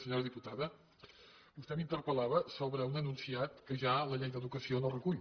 senyora diputada vostè m’interpel·lava sobre un enunciat que ja la llei d’educació no recull